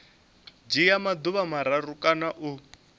dzhia maḓuvha mararu kana u